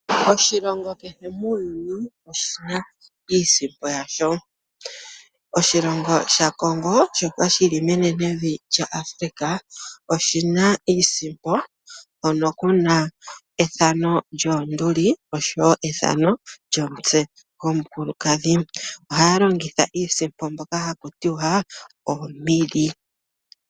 Oshilongo kehe muuyuni oshina iisimpo yasho. Oshilongo shaCongo shoka shili menenevi lyaAfrica oshina iisimpo hono kuna ethano lyoonduli oshowo ethano lyomutse gomukulukadhi. Ohaya longitha iisimpo mbyoka haku tiwa oMille.